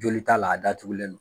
Joli t'a la, a datugulen don.